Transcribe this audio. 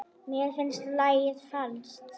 Mér finnst lagið falskt.